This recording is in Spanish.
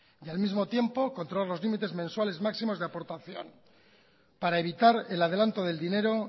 y al mismo tiempo controlar los límites mensuales máximos de aportación para evitar el adelanto del dinero